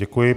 Děkuji.